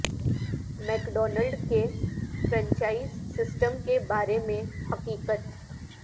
make Donald کے franchise system کے بارے میں حقیقت